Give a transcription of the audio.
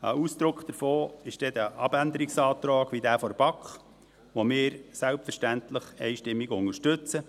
Ein Ausdruck davon ist der Abänderungsantrag der BaK, den wir selbstverständlich einstimmig unterstützen.